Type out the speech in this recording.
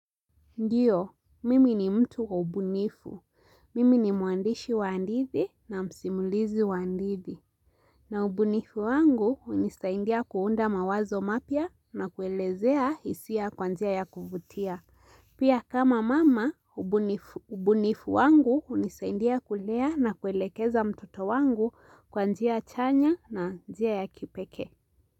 Ndiyo, mimi ni mtu wa ubunifu. Mimi ni mwandishi wa hadithi na msimulizi wa hadithi. Na ubunifu wangu hunisaindia kunda mawazo mapya na kuelezea hisia kwa njia ya kuvutia. Pia kama mama, ubunifu wangu unisaindia kulea na kuelekeza mtoto wangu kwanjia chanya na njia ya kipekee.